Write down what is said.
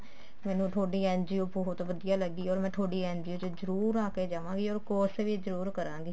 ਮੈਨੂੰ ਤੁਹਾਡੀ NGO ਬਹੁਤ ਵਧੀਆ ਲੱਗੀ or ਮੈਂ ਤੁਹਾਡੀ NGO ਚ ਜਰੁਰ ਆ ਕੇ ਜਾਵਾਗੀ or course ਵੀ ਜਰੁਰ ਕਰਾਂਗੀ